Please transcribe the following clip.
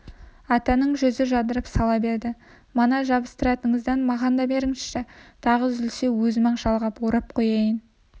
атаның жүзі жадырап сала берді мына жабыстыратыныңыздан маған да беріңізші тағы үзілсе өзім-ақ жалғап орап қояйын